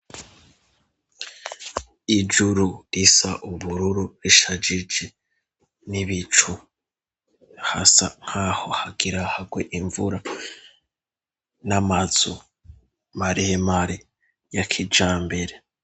Ijuru isa ubururu 'ishagigi n'ibicu hasa nkaho hagiragwe imvura n'amatsu marihemari ya kijambere.